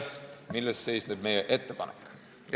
Milles seisneb meie ettepanek?